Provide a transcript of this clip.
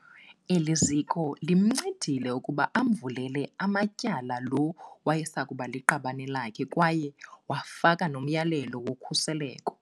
Eli ziko limncedile ukuba amvulele amatyala lo wayesakuba liqabane lakhe kwaye wafaka nomyalelo wokhuseleko.